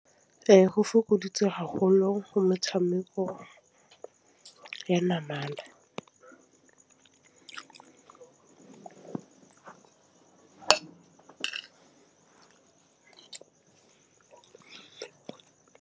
Ee, go fokoditse haholo go metšhameko ya namana.